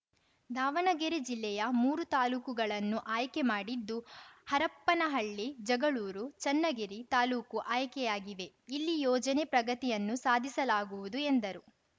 ದಾವಣಗೆರೆ ಜಿಲ್ಲೆಯ ಮೂರು ತಾಲೂಕುಗಳನ್ನು ಆಯ್ಕೆ ಮಾಡಿದ್ದು ಹರಪ್ಪನಹಳ್ಳಿ ಜಗಳೂರು ಚನ್ನಗಿರಿ ತಾಲೂಕು ಆಯ್ಕೆಯಾಗಿವೆ ಇಲ್ಲಿ ಯೋಜನೆ ಪ್ರಗತಿಯನ್ನು ಸಾಧಿಸಲಾಗುವುದು ಎಂದರು